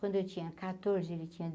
Quando eu tinha catorze, ele tinha